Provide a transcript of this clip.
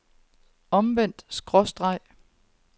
omvendt skråstreg